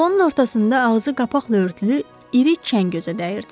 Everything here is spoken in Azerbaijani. Salonun ortasında ağzı qapaqla örtülü iri çən gözə dəyirdi.